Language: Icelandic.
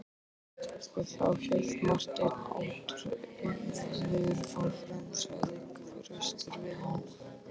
Og þá, hélt Marteinn ótrauður áfram,-sagði Kristur við hann.